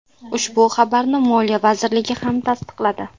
Ushbu xabarni Moliya vazirligi ham tasdiqladi .